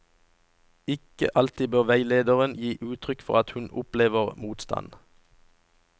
Ikke alltid bør veilederen gi uttrykk for at hun opplever motstand.